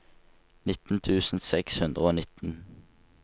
nitten tusen seks hundre og nitten